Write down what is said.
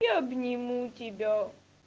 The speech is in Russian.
я обниму тебя